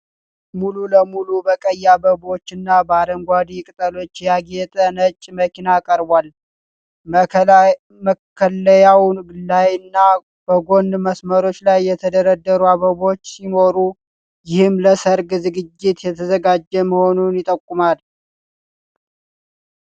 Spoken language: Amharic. ሙሉ ለሙሉ በቀይ አበባዎችና በአረንጓዴ ቅጠሎች ያጌጠ ነጭ መኪና ቀርቧል። መከለያው ላይና በጎን መስመሮች ላይ የተደረደሩ አበቦች ሲኖሩ፣ ይህም ለሠርግ ዝግጅት የተዘጋጀ መሆኑን ይጠቁማል።